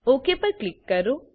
okay પર click કરો